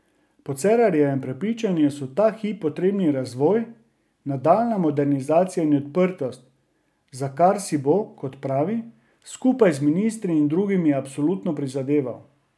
Po Cerarjevem prepričanju so ta hip potrebni razvoj, nadaljnja modernizacija in odprtost, za kar si bo, kot pravi, skupaj z ministri in drugimi absolutno prizadeval.